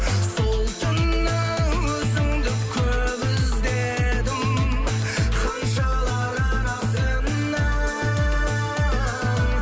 сол түні өзіңді көп іздедім ханшалар арасынан